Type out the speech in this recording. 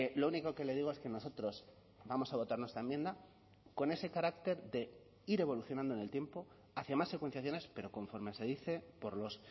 lo único que le digo es que nosotros vamos a votar nuestra enmienda con ese carácter de ir evolucionando en el tiempo hacia más secuenciaciones pero conforme se dice por los